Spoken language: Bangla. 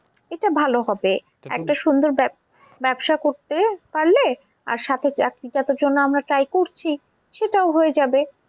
এটা ভালো হবে সুন্দর ব্যবসা করতে পারলে আর সাথে চাকরিটার তো জন্য আমরা try করছি সেটাও হয়ে যাবে